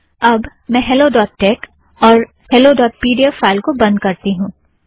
अब मैं hello dot tech और hello dot P D F को बंध करती हूँ